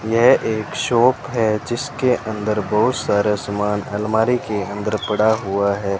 यह एक शॉप है जिसके अंदर बहुत सारा सामान अलमारी के अंदर पड़ा हुआ है।